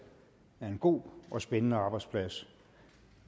er en god og spændende arbejdsplads